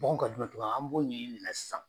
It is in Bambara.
Mɔgɔ ka dontuma an b'o ɲɛɲini mun na sisan.